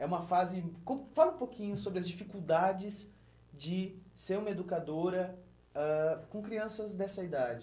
É uma fase... Como, fala um pouquinho sobre as dificuldades de ser uma educadora ãh com crianças dessa idade.